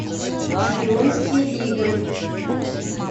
шпионские игры